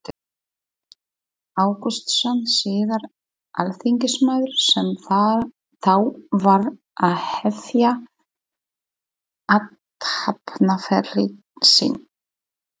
Ágústsson, síðar alþingismaður, sem þá var að hefja athafnaferil sinn.